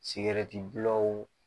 Sigɛrɛti gulɔw